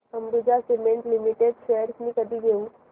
Ambuja cement limited shares मी कधी घेऊ